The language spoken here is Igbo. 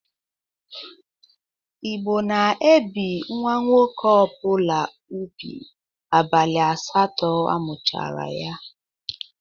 Igbo na-ebi nwa nwoke ọbụla ubu abalị asatọ amụchara ya.